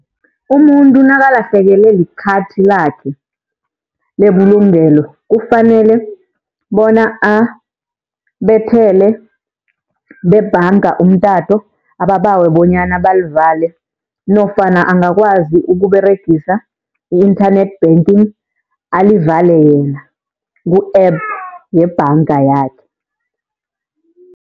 Umuntu nakalahlekelwe likhathi lakhe lebulungelo, kufanele bona abethele bebanga umtato ababawe bonyana balivale nofana angakwazi ukUberegisa i-internet banking alivale yena ku-app yebhanga yakhe.